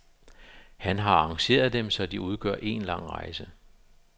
Han har arrangeret dem, så de udgør en lang rejse.